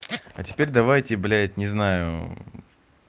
а теперь давайте блядь не знаю